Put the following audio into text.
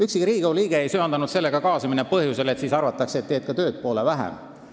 Ükski Riigikogu liige ei söandanud selle mõttega kaasa minna, kuna oli hirm, et siis arvatakse, et sa teed ka tööd poole vähem.